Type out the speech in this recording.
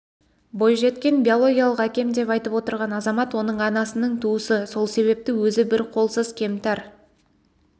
бойжеткен биологиялық әкем деп айтып отырған азамат оның анасының туысы сол себепті өзі бір қолсыз кемтар